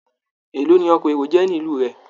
Èló ni ọkọ̀ èrò jẹ́ ní ìlú rẹ?